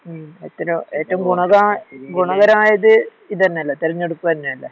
മമ് എറ്റല്ലോ ഏറ്റഗുണതാ ഗുണകരമായത് ഇതന്നല്ലേ തെരഞ്ഞെടുപ്പന്നല്ലേ